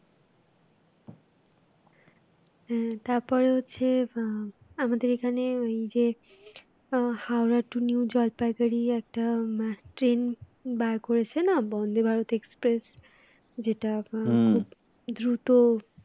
আহ তারপর হচ্ছে আহ আমাদের এখানে ওই যে আহ হাওড়া to new জলপাইগুড়ি একটা train বার করেছে না বন্দে ভারত express যেটা এখন খুব দ্রুত